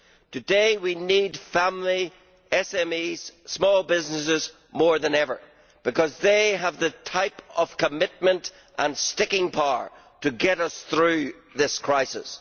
Today we need family SMEs small businesses more than ever because they have the type of commitment and sticking power to get us through this crisis.